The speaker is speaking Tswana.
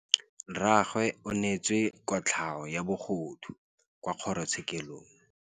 Rragwe o neetswe kotlhaô ya bogodu kwa kgoro tshêkêlông.